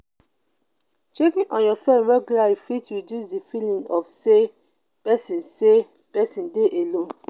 checking on your friends regularly fit reduce the feeling of say persin say persin de alone